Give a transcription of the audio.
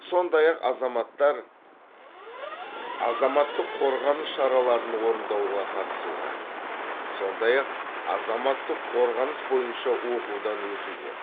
сондай ақ азаматтар азаматтық қорғаныс шараларын орындауға қатысуға сондай ақ азаматтық қорғаныс бойынша оқудан өтуге